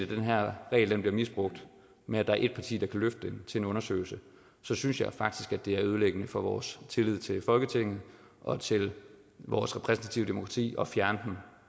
den her regel bliver misbrugt med at der er et parti der kan løfte til en undersøgelse synes jeg faktisk at det er ødelæggende for vores tillid til folketinget og til vores repræsentative demokrati at fjerne